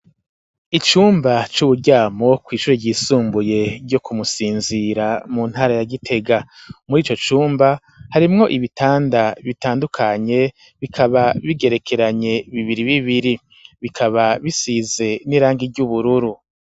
Icumba c'uburyamo kw'ishure ryisumbuye ryo kumusinzira mu ntara ya gitega muri ico cumba harimwo ibitanda bitandukanye bikaba bigerekeranye bibiri bibiri bikaba bisize n'irangi ry'ubururu.